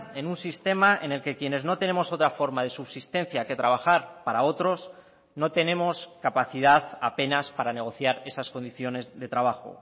en un sistema en el que quienes no tenemos otra forma de subsistencia que trabajar para otros no tenemos capacidad apenas para negociar esas condiciones de trabajo